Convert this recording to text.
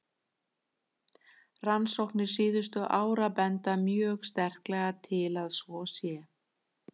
Rannsóknir síðustu ára benda mjög sterklega til að svo sé.